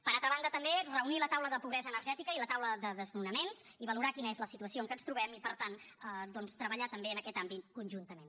per altra banda també reunir la taula sobre pobresa energètica i la taula sobre desnonaments i valorar quina és la situació en què ens trobem i per tant doncs treballar en aquest àmbit conjuntament